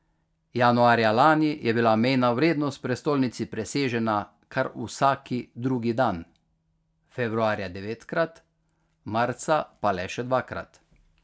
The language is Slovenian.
Januarja lani je bila mejna vrednost v prestolnici presežena kar vsak drugi dan, februarja devetkrat, marca pa le še dvakrat.